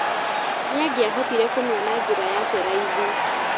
Nĩangiahotire kumĩona njĩra yake raithi.